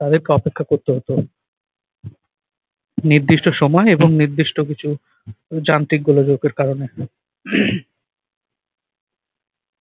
তাদেরকে অপেক্ষা করতে হতো। নির্দিষ্ট সময় এবং নির্দিষ্ট কিছু যান্ত্রিক গোলযোগের কারণে।